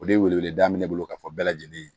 O de wele wele da bɛ ne bolo ka fɔ bɛɛ lajɛlen ye